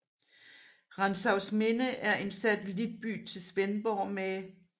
Rantzausminde er en satellitby til Svendborg med